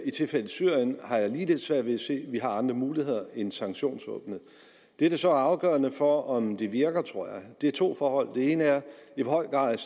i tilfældet syrien har jeg ligeledes svært ved at se at vi har andre muligheder end sanktionsvåbenet det der så er afgørende for om det virker tror jeg er to forhold det ene er i hvor høj grad